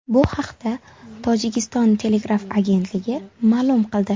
Bu haqda Tojikiston telegraf agentligi ma’lum qildi .